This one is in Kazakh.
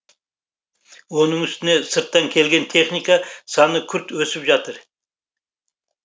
оның үстіне сырттан келген техника саны күрт өсіп жатыр